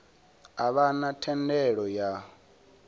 a vha na thendelo ya